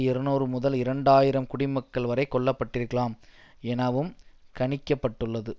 இருநூறு முதல் இரண்டு ஆயிரம் குடிமக்கள் வரை கொல்ல பட்டிருக்கலாம் எனவும் கணிக்க பட்டுள்ளது